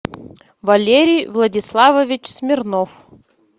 валерий владиславович смирнов